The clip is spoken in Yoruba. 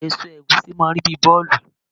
Èso ẹ̀gúsí máà ń rí bíi bọ́ọ̀lù